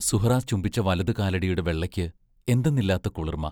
സുഹ്റാ ചുംബിച്ച് വലതുകാലടിയുടെ വെള്ളയ്ക്ക് എന്തെന്നില്ലാത്ത കുളുർമ.......